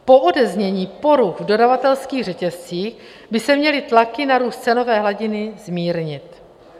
Po odeznění poruch v dodavatelských řetězcích by se měly tlaky na růst cenové hladiny zmírnit.